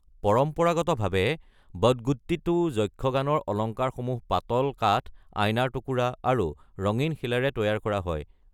পৰম্পৰাগতভাৱে, বদগুটিট্টু যক্ষগানৰ অলংকাৰসমূহ পাতল কাঠ, আইনাৰ টুকুৰা, আৰু ৰঙীন শিলেৰে তৈয়াৰ কৰা হয়।